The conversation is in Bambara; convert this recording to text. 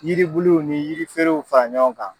Yiribuluw ni yiriferew fara ɲɔgɔn kan.